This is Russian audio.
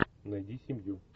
найди семью